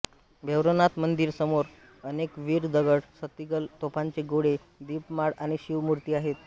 भैरवनाथ मंदिरासमोर अनेक वीर दगड सतीगल तोफांचे गोळे दीपमाळ आणि शिव मूर्ती आहेत